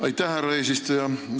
Aitäh, härra eesistuja!